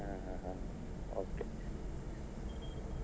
ಹಾ ಹಾ okay .